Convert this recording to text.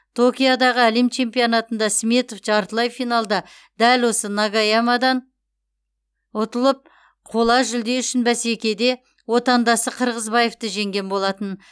токиодағы әлем чемпионатында сметов жартылай финалда дәл осы нагаямадан ұтылып қола жүлде үшін бәсекеде отандасы қырғызбаевты жеңген болатын